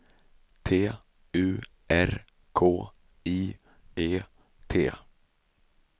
T U R K I E T